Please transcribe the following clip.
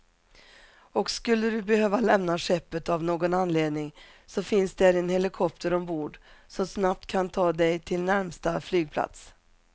Och skulle du behöva lämna skeppet av någon anledning så finns där en helikopter ombord, som snabbt kan ta dig till närmsta flygplats.